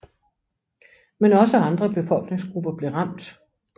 Men også andre befolkningsgrupper blev ramt